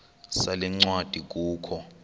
sale ncwadi kukho